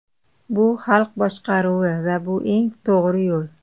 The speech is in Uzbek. Bu xalq boshqaruvi va bu eng to‘g‘ri yo‘l.